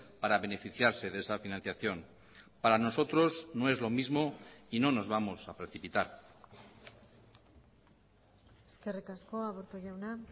para beneficiarse de esa financiación para nosotros no es lo mismo y no nos vamos a precipitar eskerrik asko aburto jauna